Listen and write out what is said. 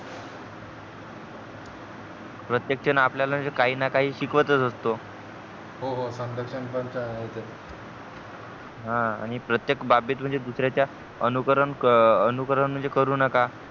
प्रत्येक जण आपल्याला काही ना काही म्हणजे शिकवतच असतो हो हो प्रत्येक बाबी त म्हणजे दुसऱ्याचे अनुकरण म्हणजे करू नका